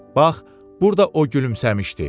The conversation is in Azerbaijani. Bax, burda o gülümsəmişdi.